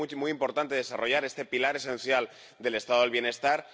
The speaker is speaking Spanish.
Por ello, es muy importante desarrollar este pilar esencial del Estado del bienestar.